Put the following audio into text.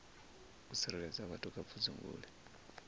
u tsireledza vhathu kha pfudzungule